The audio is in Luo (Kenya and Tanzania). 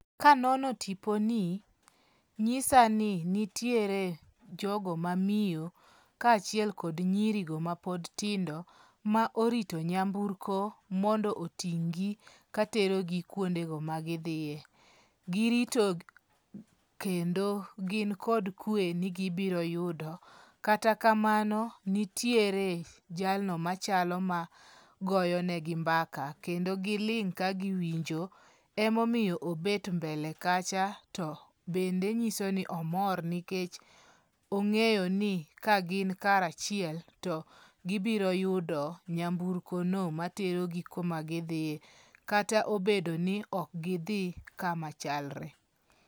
Kanono tipo ni nyisa ni nitiere jogo mamiyo kachiel kod nyiri go mapod tindo ma orito nyamburko mondo iting' gi latero gi kwonde go ma gidhie. Girito kendo gin kod kwe ni gibiro yudo. Kata kamano nitiere jalno machalo magoyonegi mbaka kendo giling' ka giwinjo e momiyo obet mbele kacha to bende nyiso ni omor nikech ong'eyo ni ka gin kar achiel to gibiro yudo nyamburko no materogi kuma gidhiye kata obedo ni ok gidhi kama chalre.